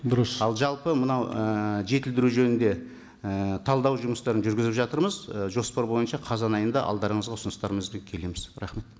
дұрыс ал жалпы мынау ы жетілдіру жөнінде і талдау жұмыстарын жүргізіп жатырмыз і жоспар бойынша қазан айында алдарыңызға ұсыныстарымызбен келеміз рахмет